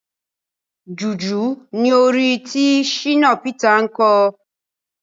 Jùjú ni orin tí Shina Peter ń kọ.